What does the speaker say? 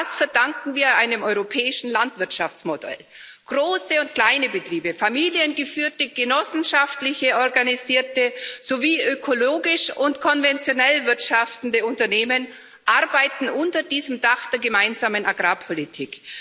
Das verdanken wir einem europäischen Landwirtschaftsmodell. Große und kleine Betriebe, familiengeführte und genossenschaftlich organisierte sowie ökologisch und konventionell wirtschaftende Unternehmen arbeiten unter diesem Dach der Gemeinsamen Agrarpolitik.